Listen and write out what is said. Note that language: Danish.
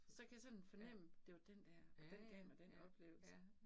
Så kan jeg sådan fornemme, det var den dér, og den gav mig den oplevelse